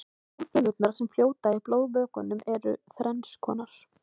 blóðfrumurnar sem fljóta í blóðvökvanum eru þrennskonar